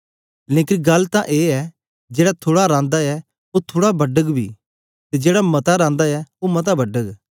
लेकन गल्ल तां ए ऐ जेड़ा थुड़ा रांदा ऐ ओ थुड़ा बडग बी ते जेड़ा मता रांदा ऐ ओ मता बडग